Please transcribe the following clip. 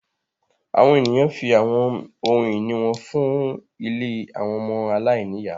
Àwọn eniyan fi awọn ohun-ini wọn fun ìlé awọn ọmọ aláìniya